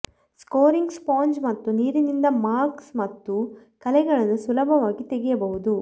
scoring sponge ಮತ್ತು ನೀರಿನಿಂದ marks ಮತ್ತು ಕಲೆಗಳನ್ನು ಸುಲಭವಾಗಿ ತೆಗೆಯಬಹುದು